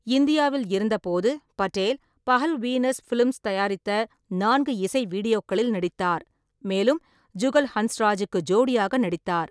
இந்தியாவில் இருந்தபோது, Patel Pahal Venus films தயாரித்த நான்கு இசை வீடியோக்களில் நடித்தார், மேலும் ஜுகல் ஹன்ஸ்ராஜுக்கு ஜோடியாக நடித்தார்.